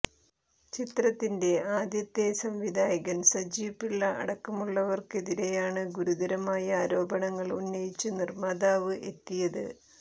ചിത്രത്തിന്റെ ആദ്യത്തെ സംവിധായകൻ സജീവ് പിള്ള അടക്കമുള്ളവർക്കെതിരെയാണ് ഗുരുതരമായ ആരോപണങ്ങൾ ഉന്നയിച്ച് നിർമ്മാതാവ് എത്തിയത്